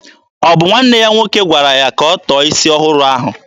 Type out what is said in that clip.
Ọ bụ nwanne ya nwoke gwara ya ka ọ tọọ isi ọhụrụ ahụ?